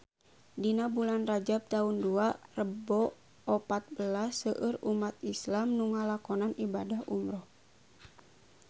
Dina bulan Rajab taun dua rebu opat belas seueur umat islam nu ngalakonan ibadah umrah